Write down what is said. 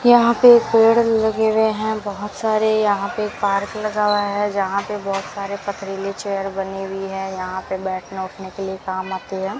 यहां पे पेड़ लगे हुए हैं बहोत सारे यहां पे एक पार्क लगा हुआ है जहां पे बहोत सारे पत्थरीली के चेयर बनी हुई है यहां पे बैठना उठने के लिए काम आती है।